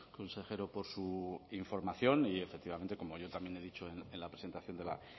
consejero por su información y efectivamente como yo también he dicho en la presentación de la